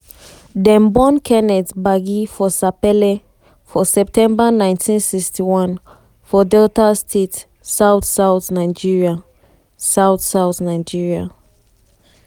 dem born kenneth gbagi for sapele for september 1961 for delta state south-south nigeria. south-south nigeria.